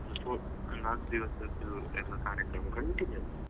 ನಾಕ್ ದಿವ್ಸದ್ದು ಎಲ್ಲ ಕಾರ್ಯಕ್ರಮ continuous .